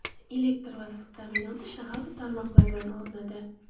Elektr va suv ta’minoti shahar tarmoqlaridan olinadi.